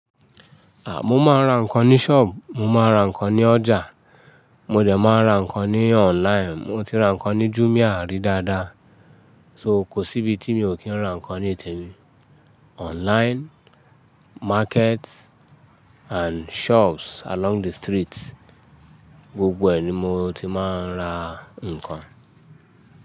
À, mo máa ń ra ǹkan ní shop, mo máa ń ra ǹkan ní ọjà, mo dẹ̀ máa ń ra ǹkan ní online. Mo ti ra ǹkan ní Jumia rí dáadáa. So kò sí ibi tí mi ò kí ń ra ǹkan ní ìtẹ̀mi. Online, market and shops along the street, gbogbo ẹ̀ ní mo ti máa ń ra ǹkan.